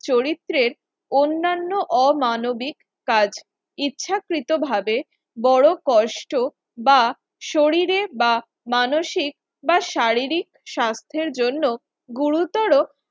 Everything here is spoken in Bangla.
চরিত্রের অন্যান্য অমানবিক কাজ ইচ্ছাকৃত ভাবে বড় কষ্ট বা শরীরে বা মানসিক বা শারীরিক স্বাস্থ্যের জন্য গুরুতর